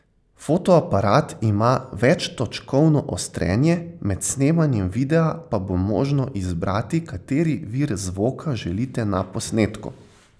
Fotoaparat ima večtočkovno ostrenje, med snemanjem videa pa bo možno izbrati kateri vir zvoka želite na posnetku.